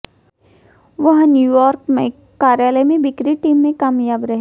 वह न्यूयॉर्क में कार्यालय में बिक्री टीम में कामयाब रहे